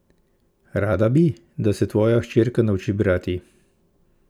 Rada bi, da se tvoja hčerka nauči brati?